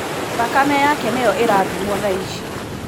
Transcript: Thakame yake nĩyo ĩrathimwo thaici.